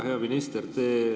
Hea minister!